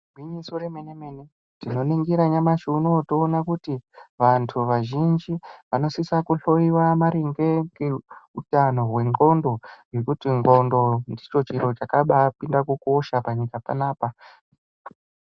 Gwinyiso remenemene tikaningira nyamashi unowo tinoona kuti vantu vazhinji vonosisa kuhloiwa mqringe ngeutano hwe nxondo ngekuti nxondo ndicho chiro chakabapinda kukosha panyika panapa.